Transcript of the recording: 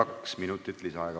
Kaks minutit lisaaega, palun!